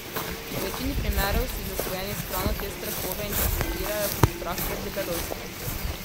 V večini primerov si zasvojeni s hrano te strahove interpretirajo kot strah pred debelostjo.